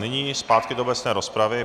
Nyní zpátky do obecné rozpravy.